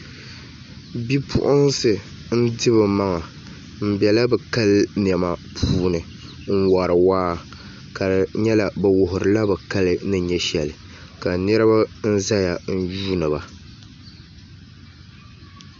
Bipuɣunsi n di bi maŋa n biɛla bi kali niɛma puuni n wori waa ka di nyɛla bi wuhurila bi kali ni nyɛ shɛli ka niraba n ʒɛya n yuundiba